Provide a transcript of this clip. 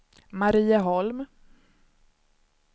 Marieholm